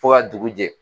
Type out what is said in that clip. Fo ka dugu jɛ